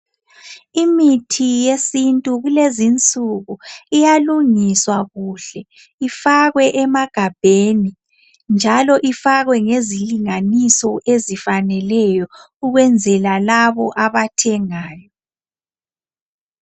Imithi yesintu kulezinsuku iyalungiswa kuhle ifakwe emagabheni, njalo ifakwe ngezilinganiso ezifaneleyo ukwenzela labo abathengayo.